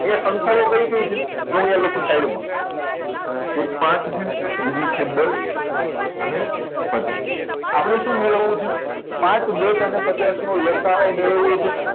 અહી સંખ્યાઓ કઈ કઈ છે જો હું લખું છું side માં એ પાંચ છે બીજી છે દસ અને પચાસ આપણે શું મેળવવું છે પાંચ દસ અને પચાસ નો લ. સા. અ મેળવવો છે